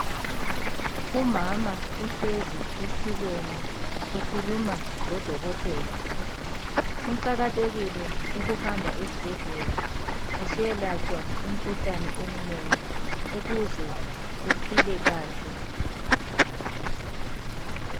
Umama uhlezi esitulweni ukhuluma lodokotela. Kuqakathekile ukuhamba esibhedlela usiyelatshwa imikhuhlane eminengi ukuze uphile kahle